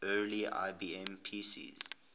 early ibm pcs